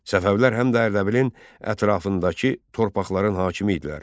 Səfəvilər həm də Ərdəbilin ətrafındakı torpaqların hakimi idilər.